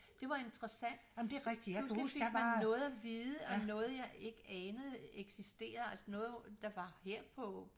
Det var interessant pludselig fik man noget af vide om noget jeg ikke anede eksisterer altså noget der var her på